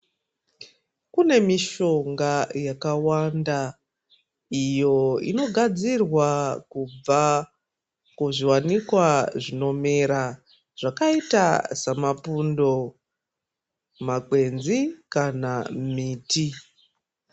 Kune mishonga yakawanda iyo inogadzirwa kubva kuzviwanikwa zvinomera zvakaita samapundo makwenzi kana miti.